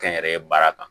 Kɛ n yɛrɛ ye baara kan